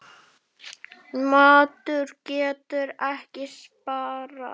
Matur getur ekki sparað.